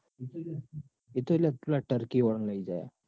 એતો લ્યા પેલા turkey વાળા ને લઇ જાય હ.